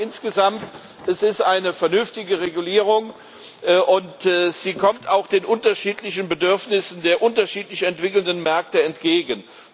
Ich glaube, insgesamt ist es eine vernünftige Regulierung, und sie kommt auch den unterschiedlichen Bedürfnissen der unterschiedlich entwickelten Märkte entgegen.